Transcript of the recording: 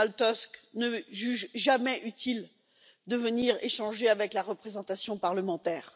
Donald Tusk ne juge jamais utile de venir échanger avec la représentation parlementaire.